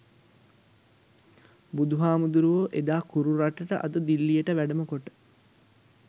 බුදුහාමුදුරුවෝ එදා කුරු රටට අද දිල්ලියට වැඩම කොට